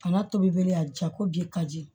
Bana tobi bere a ja ko ji ka di